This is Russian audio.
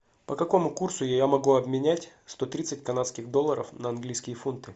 по какому курсу я могу обменять сто тридцать канадских долларов на английские фунты